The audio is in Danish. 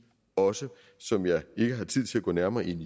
også som jeg ikke har tid til at gå nærmere ind